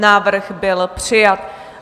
Návrh byl přijat.